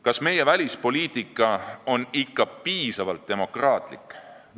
Kas meie välispoliitika on ikka piisavalt demokraatlik?